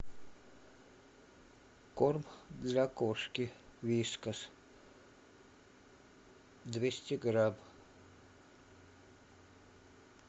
корм для кошки вискас двести грамм